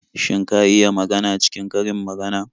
Shin ka iya magana cikin karin magana?